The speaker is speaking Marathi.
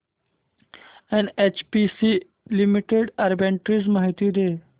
एनएचपीसी लिमिटेड आर्बिट्रेज माहिती दे